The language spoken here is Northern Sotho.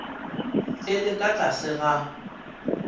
e le ka tlase ga